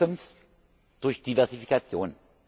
Erstens durch Diversifikation.